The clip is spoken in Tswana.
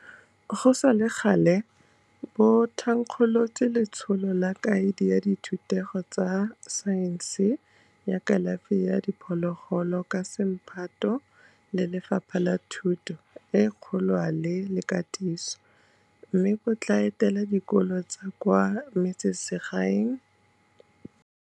Go sa le gale, bo thankgolotse Letsholo la Kaedi ya Dithutego tsa Saense ya Kalafi ya Diphologolo ka semphato le Lefapha la Thuto e Kgolwane le Katiso, mme bo tla etela dikolo tsa kwa metsemagaeng go rotloetsa baithuti go tsaya ditirelo tsa kalafi ya diphologolo jaaka nngwe ya ditiro tsa borutegi.